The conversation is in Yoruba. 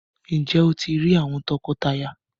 Njé o ti rí àwòn tọkọtaya?